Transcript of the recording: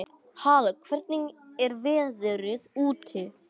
Halla, hvernig er veðrið úti?